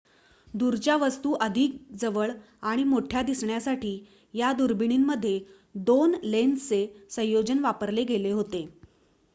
दूरच्या वस्तू अधिक जवळ आणि मोठ्या दिसण्यासाठी या दुर्बिणींमध्ये 2 लेन्सचे संयोजन वापरले गेले होते